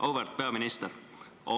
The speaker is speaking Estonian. Auväärt peaminister!